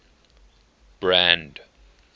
brand